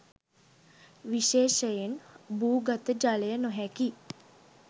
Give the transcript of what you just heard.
විශේෂයෙන් භූගත ජලය නොහැකි